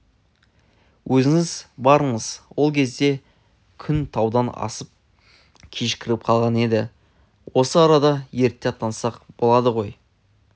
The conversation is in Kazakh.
өзіңіз барыңыз ол кезде күн таудан асып кешкіріп қалған еді осы арадан ерте аттансақ болады ғой